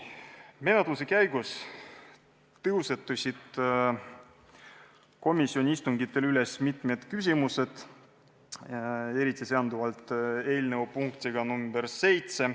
Menetluse käigus tõusetusid komisjoni istungitel mitmed küsimused, eriti seonduvalt eelnõu punktiga nr 7.